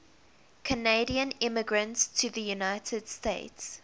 canadian immigrants to the united states